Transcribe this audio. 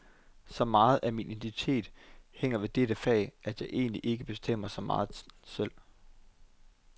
Så megen af min identitet hænger ved dette fag, at jeg egentlig ikke bestemmer så meget selv.